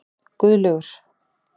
Guðlaugur